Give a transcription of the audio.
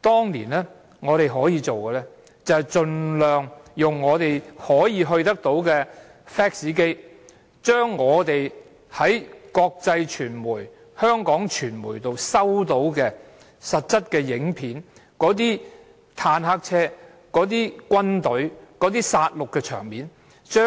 當年我們可以做的就是，盡量用我們可以接觸到的 fax 機，將我們在國際傳媒及香港傳媒收到的實質影片，將那些坦克車及軍隊的殺戮場面的